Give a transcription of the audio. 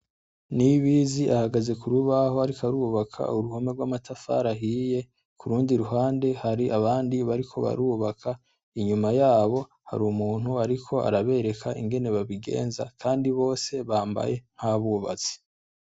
Nibizi ahagaze ku rubaho ariko arubaka uruhome rw‘ amatafari ahiye, kurundi ruhande hari abandi bariko barubaka, inyuma yaho hari umuntu ariko arabereka ingene babigenza kandi bose bambaye nk‘ abubatsi.